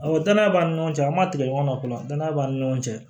Aw danaya b'an ni ɲɔgɔn cɛ an ma tigɛ ɲɔgɔn na kola danaya b'an ni ɲɔgɔn cɛ